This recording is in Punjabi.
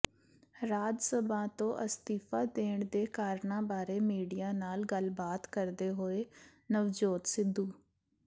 ਰਾਜ ਸਭਾ ਤੋਂ ਅਸਤੀਫਾ ਦੇਣ ਦੇ ਕਾਰਨਾਂ ਬਾਰੇ ਮੀਡੀਆ ਨਾਲ ਗੱਲਬਾਤ ਕਰਦੇ ਹੋਏ ਨਵਜੋਤ ਸਿੱਧੂ